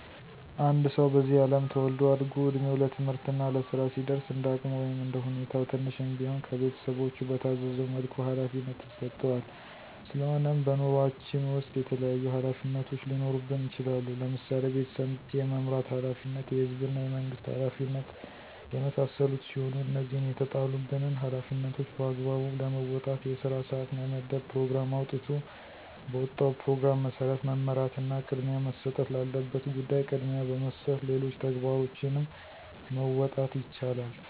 አንድ ሰዉ በዚህ አለም ተወልዶ አድጎ እድሜዉ ለትምህርት እና ለስራ ሲደርስ እንደ አቅሙ ወይም እንደ ሁኔታዉ ትንሽም ቢሆን ከቤተሰቦቹ በታዘዘዉ መልኩ ኃላፊነት ይሰጠዋል ስለሆነም በኑሮአችን ዉስጥ የተለያዩ ኃላፊነቶች ሊኖሩብን ይችላሉ ለምሳሌ፦ ቤተሰብ የመምራት ኃላፊነት፣ የህዝብና የመንግስት ኃላፊነት የመሳሰሉት ሲሆኑ እነዚህን የተጣሉብንን ኃላፊነቶች በአግባቡ ለመወጣት የስራ ሰዓት መመደብ ፕሮግራም አዉጥቶ በወጣዉ ፕሮግራም መሰረት መመራትና ቅድሚያ መሰጠት ላለበት ጉዳይ ቅድሚያ በመስጠት ሌሎች ተግባሮችንም መወጣት ይቻላል።